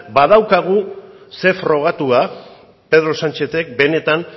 badaukagu zer frogatua pedro sánchezek benetan